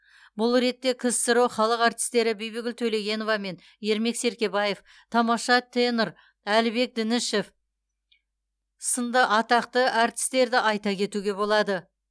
бұл ретте ксро халық әртістері бибігүл төлегенова мен ермек серкебаев тамаша тенор әлібек дінішев сынды атақты әртістерді айта кетуге болады